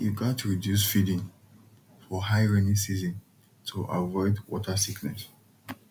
you gat reduce feeding for high rainy season to avoid water sickness